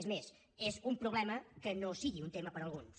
és més és un problema que no sigui un tema per a alguns